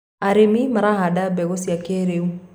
arĩmi marahanda mbegũ cia kĩiriu